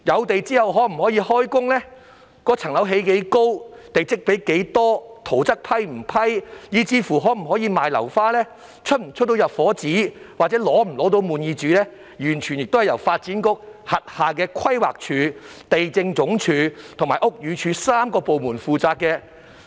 訂立開始施工日期、樓宇高度、地積比率、審批圖則，以至出售樓花、發出入伙紙、滿意紙等，均由發展局轄下的規劃署、地政總署和屋宇署3個部門負責。